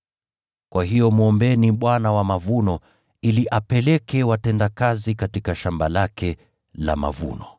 Kwa hiyo mwombeni Bwana wa mavuno, ili apeleke watendakazi katika shamba lake la mavuno.”